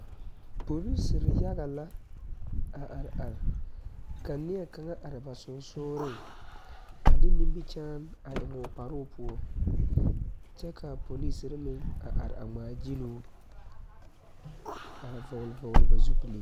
Polisiri yaga la a are are ka neɛ kaŋa are ba sensɔleŋ a de nimikyaane a eŋ o kparoo poɔ kyɛ kaa polisiri meŋ are a ŋmaa gyiloo a vɔgeli vɔgeli ba zupili.